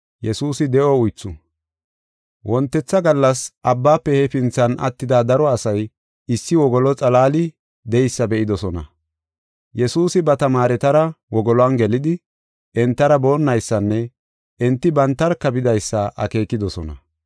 Wontetha gallas abbaafe hefinthan attida daro asay issi wogolo xalaali de7eysa be7idosona. Yesuusi ba tamaaretara wogoluwan gelidi, entara boonnaysanne enti bantarka bidaysa akeekidosona.